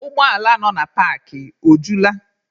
Ụgbọ ala nọ na paakị, o jula?